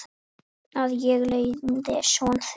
Að ég leiði son þeirra.